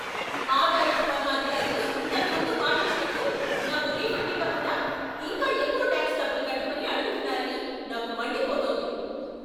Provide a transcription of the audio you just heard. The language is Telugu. ఆదాయపు పన్ను అధికారులు ఇంతకు ముందు మాటిచ్చినట్టు నాకు రిఫండ్ ఇవ్వకుండా ఇంకా ఎక్కువ టాక్స్ డబ్బులు కట్టమని అడుగుతున్నారని నాకు మండిపోతోంది.